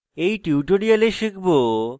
in tutorial শিখব